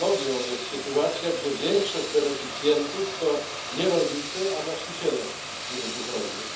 Patologią jest sytuacja, gdzie większość beneficjentów to nie rolnicy, a właściciele gruntów rolnych.